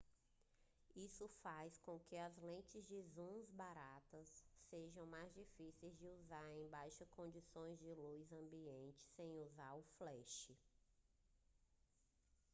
isso faz com que lentes de zoom baratas sejam mais difíceis de usar em baixas condições de luz ambiente sem usar o flash